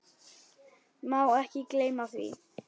Má ekki gleyma því.